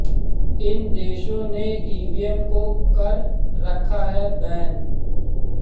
इन देशों ने ईवीएम को कर रखा है बैन